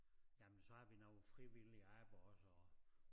Jamen så har vi noget frivilligt arbejde også og